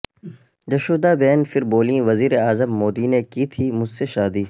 جشودا بین پھر بولیں وزیراعظم مودی نے کی تھی مجھ سے شادی